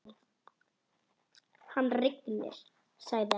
Hann rignir, sagði hann.